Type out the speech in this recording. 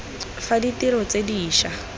fa ditiro tse di ša